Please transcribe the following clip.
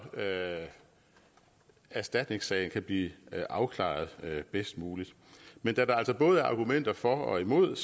erstatningssagen kan blive afklaret bedst muligt men da der altså både er argumenter for og imod